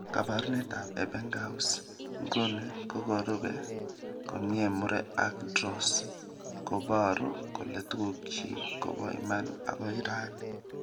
Kabarunetab Ebbingaus nguni kokorubee komie Murre ak Dros, kobaru kole tugukchi kobo iman akoi raini